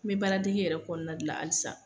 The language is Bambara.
N bɛ baara dege yɛrɛ kɔnɔna la hali san.